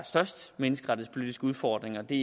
største menneskerettighedspolitiske udfordringer og det